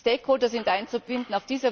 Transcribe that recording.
Stakeholder sind einzubinden.